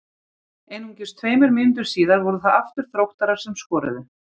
Einungis tveimur mínútum síðar voru það aftur Þróttarar sem skoruðu.